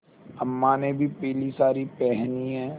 अम्मा ने भी पीली सारी पेहनी है